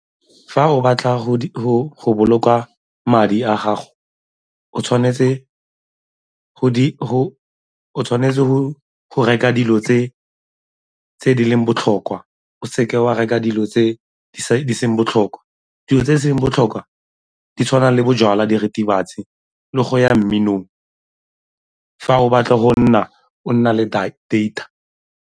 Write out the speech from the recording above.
Fa o batla go boloka madi a gago o tshwanetse o tshwanetse go reka dilo tse tse di leng botlhokwa o seke wa reka dilo tse di seng botlhokwa, dilo tse e seng botlhokwa di tshwana le bojalwa, diritibatsi, le go ya mminong, fa o batla go nna o na le data.